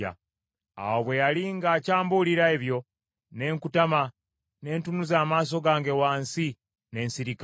Awo bwe yali ng’akyambuulira ebyo, ne nkutama, ne ntunuza amaaso gange wansi, ne nsirika.